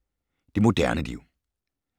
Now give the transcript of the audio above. Det moderne liv